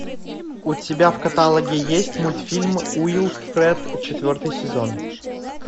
у тебя в каталоге есть мультфильм уилфред четвертый сезон